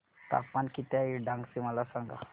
तापमान किती आहे डांग चे मला सांगा